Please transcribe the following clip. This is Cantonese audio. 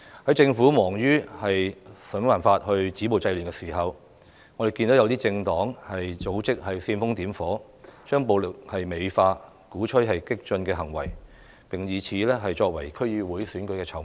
當政府忙於想辦法止暴制亂的時候，我們看到有些政黨組織煽風點火，美化暴力，鼓吹激進行為，並以此作為區議會選舉的籌碼。